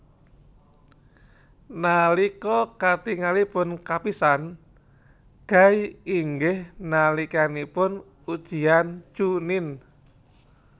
Nalika katingalipun kapisan Guy inggih nalikanipun ujian chuunin